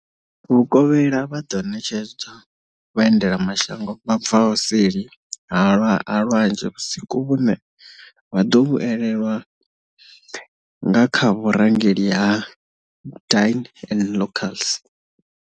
Vhukovhela vha ḓo ṋetshedza vhaendelamashango vha bvaho seli ha lwanzhe vhusiku vhune vha ḓo vhu elelwa nga kha vhurangeli ha Dine with Locals.